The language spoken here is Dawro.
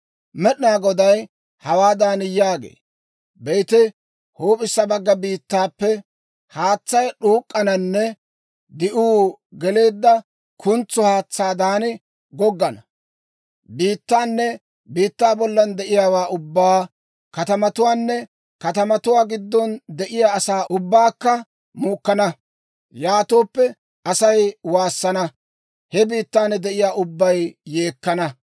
Med'inaa Goday hawaadan yaagee; «Be'ite, huup'issa bagga biittappe haatsay d'uuk'k'ananne di'uu geleedda kuntso haatsaadan goggana. Biittaanne biittaa bollan de'iyaawaa ubbaa, katamatuwaanne katamatuwaa giddon de'iyaa asaa ubbaakka muukkana. Yaatooppe Asay waassana; he biittan de'iyaa ubbay yeekkana.